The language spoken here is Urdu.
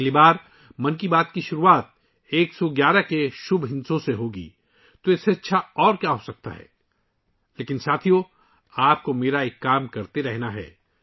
اگلی بار 'من کی بات' کا آغاز 111 ویں مبارک نمبر سے ہوگا ، تو اس سے اچھی اور کیا بات ہے لیکن ساتھیو، آپ کو میرے لیے ایک کام کرتے رہنا ہے